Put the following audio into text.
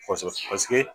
Faso paseke